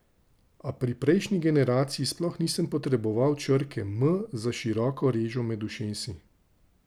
A pri prejšnji generaciji sploh nisem potreboval črke M za široko režo med ušesi.